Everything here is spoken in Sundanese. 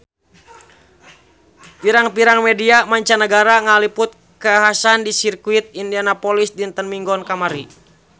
Pirang-pirang media mancanagara ngaliput kakhasan di Sirkuit Indianapolis dinten Minggon kamari